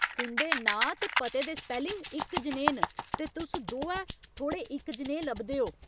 तुं'दे नांऽ ते पते दे स्पैलिंग इक जनेहे न , ते तुस दोऐ थोह्ड़े इक जनेहे लभदे ओ।